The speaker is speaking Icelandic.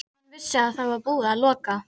Hann vissi að það var búið að loka